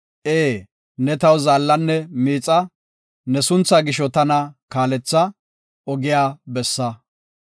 Ee, ne taw zaallanne miixa; ne sunthaa gisho tana kaaletha; ogiya bessa.